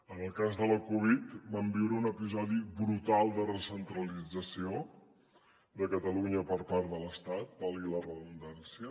en el cas de la covid vam viure un episodi brutal de recentralització de catalunya per part de l’estat valgui la redundància